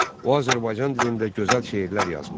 O Azərbaycan dilində gözəl şeirlər yazmışdı.